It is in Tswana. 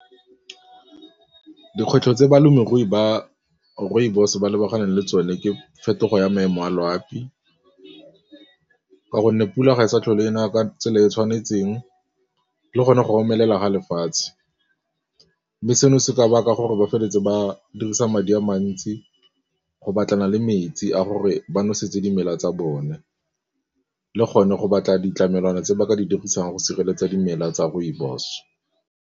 Dikgwetlho tse balemirui ba rooibos ba lebaganeng le tsone ke fetogo ya maemo a loapi ka gonne pula e sa tlhole e na ka tsela e e tshwanetseng le gone go romelela ga lefatshe mme seno se ka baka gore ba feleletse ba dirisa madi a mantsi go batlana le metsi a gore ba nosetse dimela tsa bone le gone go batla ditlamelwana tse ba ka di dirisang go sireletsa dimela tsa rooibos.